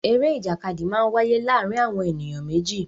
Eré ìjàkadì máa ń wáyé láàárín àwọn ènìyàn méjì